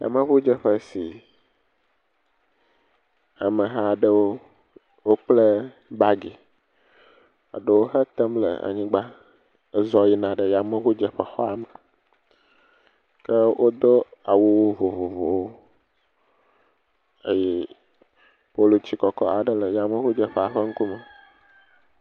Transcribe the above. Yameŋudzeƒe si ame aɖewo, wokplɛ baagi. Eɖewo hetem le anyigba hezɔ yina yameŋudzeƒe xɔa me. Ke wodo awu vovovowo eye polutsi kɔkɔ aɖe le yameŋudzeƒea ƒe ŋkume.